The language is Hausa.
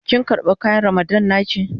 Kin karba kayan Ramadan na ki?